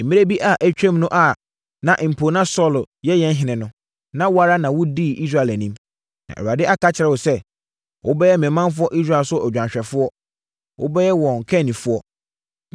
Mmerɛ bi a atwam no a mpo na Saulo yɛ yɛn ɔhene no, wo ara na wodii Israel anim. Na Awurade aka akyerɛ wo sɛ, ‘Wobɛyɛ me manfoɔ Israel so odwanhwɛfoɔ. Wobɛyɛ wɔn kannifoɔ.’ ”